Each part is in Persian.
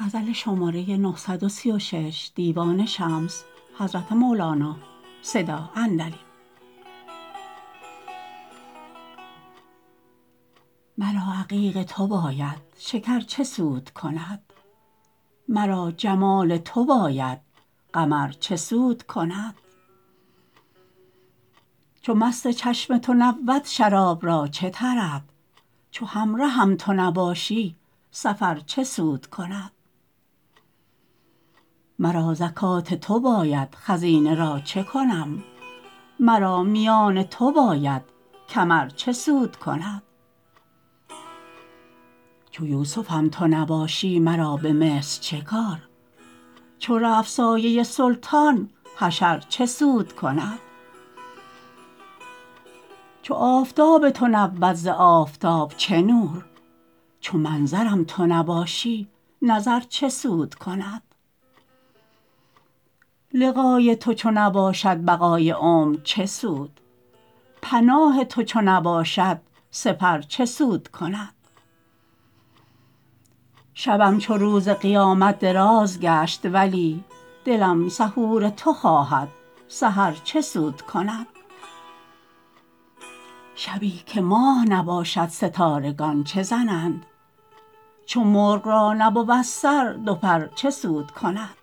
مرا عقیق تو باید شکر چه سود کند مرا جمال تو باید قمر چه سود کند چو مست چشم تو نبود شراب را چه طرب چو همرهم تو نباشی سفر چه سود کند مرا زکات تو باید خزینه را چه کنم مرا میان تو باید کمر چه سود کند چو یوسفم تو نباشی مرا به مصر چه کار چو رفت سایه سلطان حشر چه سود کند چو آفتاب تو نبود ز آفتاب چه نور چو منظرم تو نباشی نظر چه سود کند لقای تو چو نباشد بقای عمر چه سود پناه تو چو نباشد سپر چه سود کند شبم چو روز قیامت دراز گشت ولی دلم سحور تو خواهد سحر چه سود کند شبی که ماه نباشد ستارگان چه زنند چو مرغ را نبود سر دو پر چه سود کند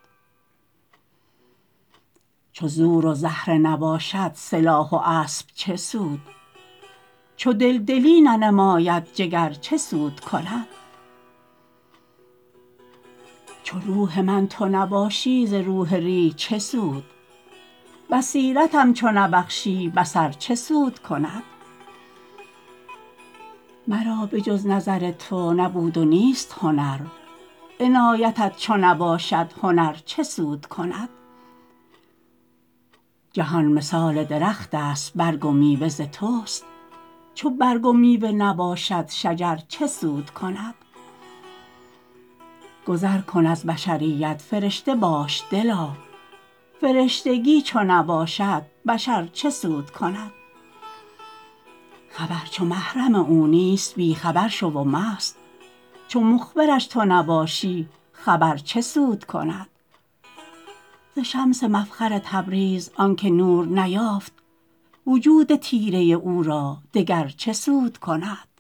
چو زور و زهره نباشد سلاح و اسب چه سود چو دل دلی ننماید جگر چه سود کند چو روح من تو نباشی ز روح ریح چه سود بصیرتم چو نبخشی بصر چه سود کند مرا به جز نظر تو نبود و نیست هنر عنایتت چو نباشد هنر چه سود کند جهان مثال درختست برگ و میوه ز توست چو برگ و میوه نباشد شجر چه سود کند گذر کن از بشریت فرشته باش دلا فرشتگی چو نباشد بشر چه سود کند خبر چو محرم او نیست بی خبر شو و مست چو مخبرش تو نباشی خبر چه سود کند ز شمس مفخر تبریز آنک نور نیافت وجود تیره او را دگر چه سود کند